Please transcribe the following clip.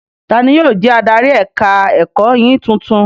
Tani yóò jẹ́ adarí ẹ̀ka-ẹ̀kọ́ yín tuntun?